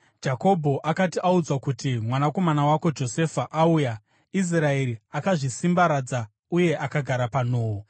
Jakobho akati audzwa kuti, “Mwanakomana wako Josefa auya,” Israeri akazvisimbaradza uye akagara panhoo.